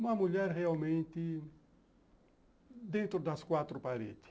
Uma mulher realmente dentro das quatro paredes.